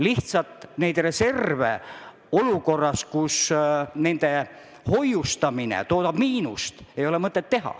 Lihtsalt pole mõtet hoida reserve olukorras, kus nende hoiustamine toodab miinust.